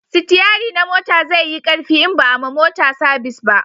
sitiyari na mota zai yi karfi in ba a ma mota sabis ba